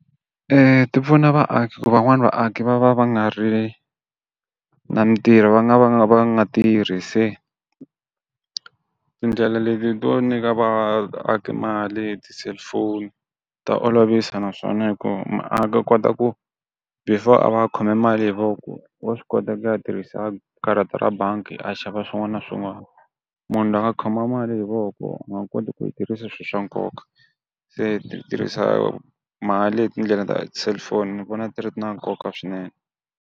ti pfuna vaaki ku van'wani vaaki va va va nga ri na mitirho va nga va nga va nga tirhi se tindlela leti to nyika vaaki mali hi ti cellphone ta olovisa naswona hikuva muaki u kota ku before a va a khome mali hi voko wa swi kota ku ya tirhisa karata ra bangi a xava swin'wana na swin'wana. Munhu loyi a khoma mali hi voko u nga koti ku yi tirhisa swi swa nkoka, se ti tirhisa mali hi tindlela ta ti cellphone ni vona ti ri na nkoka swinene.